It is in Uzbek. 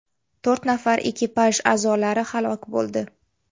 To‘rt nafar ekipaj a’zolari halok bo‘ldi.